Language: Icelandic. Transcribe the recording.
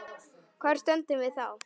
Hvar stöndum við þá?